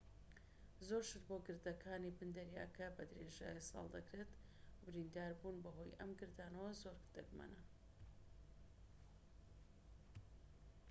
زۆر گەشت بۆ گردەکانی بن دەریاکە بە درێژایی ساڵ دەکرێت و برینداربوون بەهۆی ئەم گردانەوە زۆر دەگمەنە